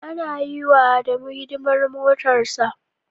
Ana yiwa Adamu hidimar motarsa.